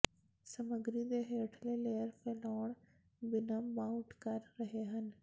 ਸਮੱਗਰੀ ਦੇ ਹੇਠਲੇ ਲੇਅਰ ਫੈਲਾਉਣ ਬਿਨਾ ਮਾਊਟ ਕਰ ਰਹੇ ਹਨ